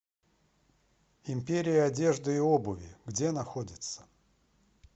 империя одежды и обуви где находится